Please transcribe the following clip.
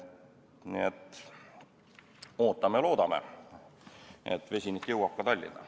Nii et ootame ja loodame, et vesinik jõuab ka Tallinna.